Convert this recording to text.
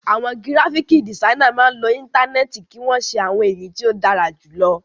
Àwọn gíráfíkì dìsainà máa ń lo Íńtánẹ́ẹ̀tì kí wọ́n ṣe àwọn èyí tó dára jù lọ.